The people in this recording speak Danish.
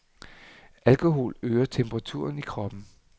Alkohol øger temperaturen i kroppen.